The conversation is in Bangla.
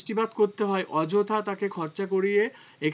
বৃষ্টিপাত করতে হয় অযথা তাকে খরচা করিয়ে